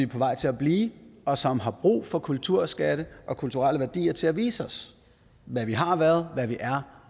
på vej til at blive og som har brug for kulturskatte og kulturelle værdier til at vise os hvad vi har været hvad vi er